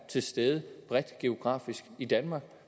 til stede bredt geografisk i danmark